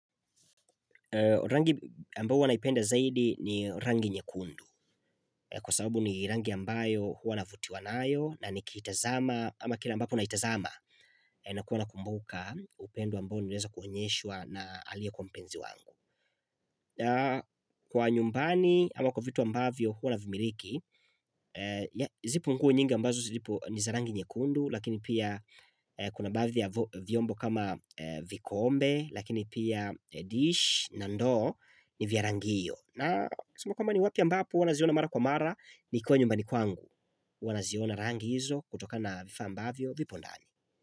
Rangi ambayo huwanaipenda zaidi ni rangi nyekundu kwa sababu ni rangi ambayo huwa navutiwanayo na nikiitazama ama kila ambapo naitazama na kuwa nakumbuka upendo ambao nilewezwa kuonyeshwa na aliyekuwa mpenzi wangu Kwa nyumbani ama kwa vitu ambavyo huwa navimiliki zipo nguo nyingi ambazo zilipo niza rangi nyekundu Lakini pia kuna baadhi ya vyombo kama vikombe Lakini pia dish na ndoo ni vya rangi hiyo na kusema kwamba ni wapi ambapo huwa naziona mara kwa mara Nikuwa nyumbani kwangu huwanaziona rangi hizo kutoka na vifa ambavyo vipo ndani.